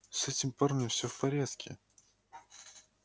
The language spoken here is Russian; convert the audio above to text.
с этим парнем все в порядке